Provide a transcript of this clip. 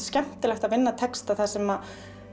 skemmtilegt að vinna texta þar sem